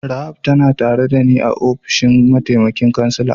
Rahab tana tare da ni a'ofishin mataimakin kansila.